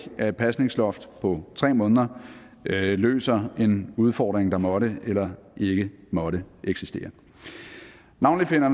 at et pasningsloft på tre måneder løser en udfordring der måtte eller ikke måtte eksistere navnlig finder